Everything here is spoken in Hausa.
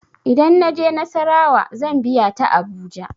Idan na je nassarawa zan biya ta abuja.